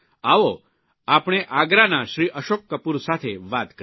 આવો આપણે આગ્રાના શ્રી અશોક કપૂર સાથે વાત કરીએ